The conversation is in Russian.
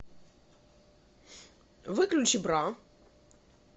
выключи бра